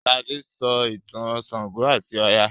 Sade sọ ìtàn ṣàngó ati Oya.